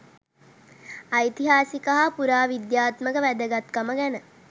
ඓතිහාසික හා පුරාවිද්‍යාත්මක වැදගත්කම ගැන